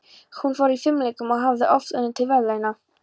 Hún var í fimleikum og hafði oft unnið til verðlauna.